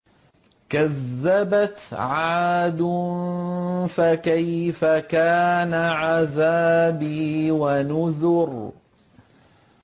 كَذَّبَتْ عَادٌ فَكَيْفَ كَانَ عَذَابِي وَنُذُرِ